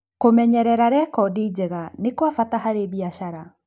Kũmenyerera rekodi njega nĩ kwa bata harĩ biacara.